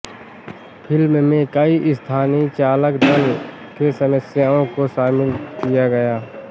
film में कई स्थानीय चालक दल के सदस्यों को शामिल किया गया